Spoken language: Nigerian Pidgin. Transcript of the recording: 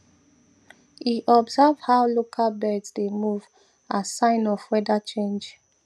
e observe how local birds dey move as sign of weather change